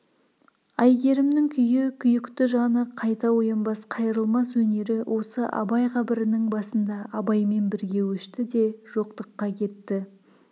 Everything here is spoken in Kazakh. әйгерімнің күйі күйікті жаны қайта оянбас қайрылмас өнері осы абай қабірінің басында абаймен бірге өшті де жоқтыққа кетті